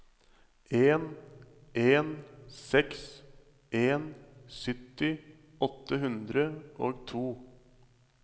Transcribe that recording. en en seks en sytti åtte hundre og to